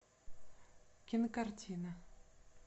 кинокартина